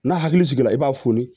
N'a hakili sigila i b'a foni